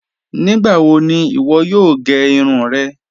Nígbàwò ní iwọ́ yòò gẹ́ irun rẹ́?